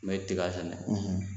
Me tiga sɛnɛ